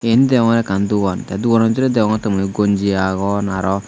yen degongor ekkan dogan te dogano bidire degongotte mui gonji agon araw.